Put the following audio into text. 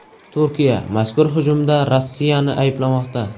Turkiya mazkur hujumda Rossiyani ayblamoqda.